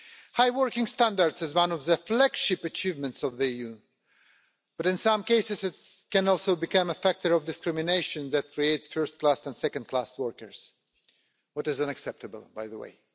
High working standards is one of the flagship achievements of the EU, but in some cases it can also become a factor of discrimination that creates first class and second class workers, which is unacceptable, by the way.